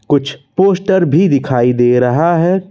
कुछ पोस्टर भी दिखाई दे रहा है।